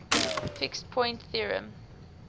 fixed point theorem